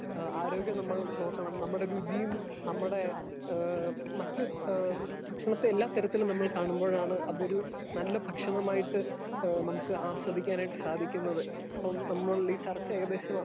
Speaker 2 ആരോഗ്യം നമ്മൾ നോക്കണം നമ്മുടെ രുചിയും നമ്മുടെ ഹേ മറ്റു ഹേ ഭക്ഷണത്തെ എല്ലാ തരത്തിൽ നമ്മൾ കാണുമ്പോയാണ് അത് ഒര് നല്ല ഭക്ഷണമായിട്ട് ഹേ നമുക്ക് ആസ്വദിക്കാനായിട്ട് സാധിക്കുന്നത്. ന നമ്മൾ ഈ ചർച്ച ഏകദേശം